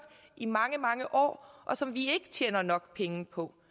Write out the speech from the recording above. i mange mange år og som vi ikke tjener nok penge på